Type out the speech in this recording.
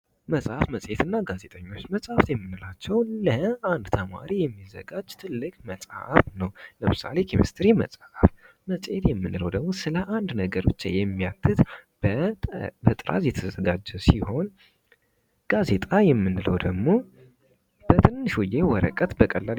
መጽሐፍ መጽሔትና ጋዜጠኞች መጸሃፍ የምንላቸው ለአንድ ተማሪ የሚዘጋጅ ትልቅ መጽሐፍ ነው። ለምሳሌ ኬሚስትሪ መጽሐፍ መጽሄት የምንለው ደግሞ ስለ አንድ ነገር ብቻ የሚያትትት በጥራዝ የተዘጋጀ ሲሆን ጋዜጣ የምንለው ደግሞ በትንሽዬ ወረቀት በቀላል